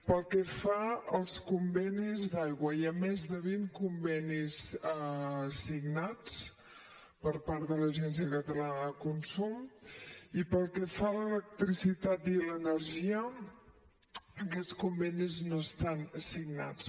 pel que fa als convenis d’aigua hi ha més de vint convenis signats per part de l’agència catalana de consum i pel que fa a l’electricitat i l’energia aquests convenis no estan signats